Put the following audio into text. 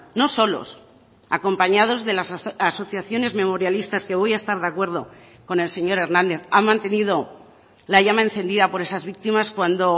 no solos acompañados de las asociaciones memorialistas que voy a estar de acuerdo con el señor hernández han mantenido la llama encendida por esas víctimas cuando